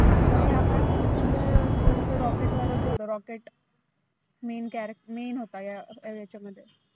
आता ह्या part मधलं सगळ तो rocket वरच होतं rocket main कॅ main होता या याच्यामध्ये.